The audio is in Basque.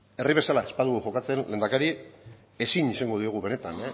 herri bezala ez badugu jokatzen lehendakari ezin izan diogu benetan